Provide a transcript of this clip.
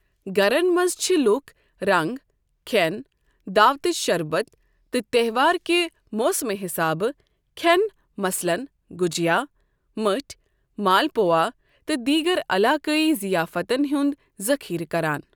گَرن منٛز چھِ لُکھ رنٛگ، کھیٛن، دعوتٕچ شربت تہٕ تہوار کہِ موسمہٕ حِسابہٕ کھیٛن مثلاً گُجیا، مٔٹھؠ، مالپوا تہٕ دیٖگر علاقٲیی ضیافتَن ہُند ذخیرٕ کَران۔